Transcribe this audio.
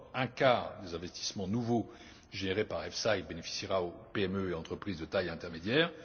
D'abord, un quart des investissements nouveaux générés par l'EFSI bénéficiera aux PME et aux entreprises de taille intermédiaire.